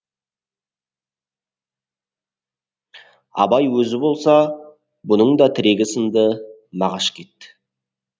абай өзі болса бұның да тірегі сынды мағаш кетті